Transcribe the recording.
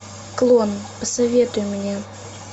клон посоветуй мне